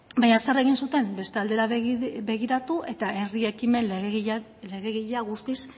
baina zer egin zuten beste aldera begiratu eta herri ekimen legegilea guztiz